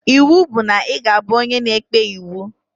Iwu bụ na iga abụ onye na-ekpe iwu